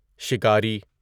شکاری